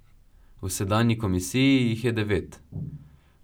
V sedanji komisiji jih je devet.